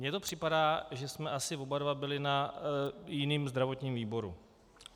Mně to připadá, že jsme asi oba dva byli na jiném zdravotním výboru.